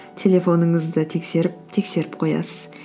телефоныңызды тексеріп тексеріп қоясыз